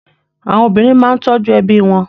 Àwọn obìnrin máa ń tọ́jú ẹbí wọn.